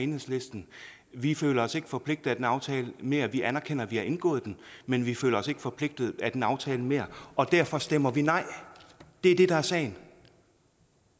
enhedslisten vi føler os ikke forpligtet af den aftale mere vi anerkender at vi har indgået den men vi føler os ikke forpligtet af den aftale mere og derfor stemmer vi nej det er det der er sagen